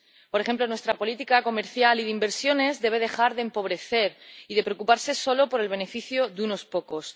Por ejemplo, nuestra política comercial y de inversiones debe dejar de empobrecer y de preocuparse solo por el beneficio de unos pocos.